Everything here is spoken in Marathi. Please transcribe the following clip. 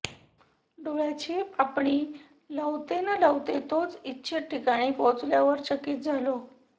डोळ्याची पापणी लवते न लवते तोच इच्छित ठिकाणी पोहोचल्यावर चकित झालो